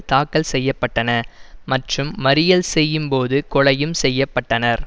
தாக்கல் செய்ய பட்டன மற்றும் மறியல் செய்யும் போது கொலையும் செய்ய பட்டனர்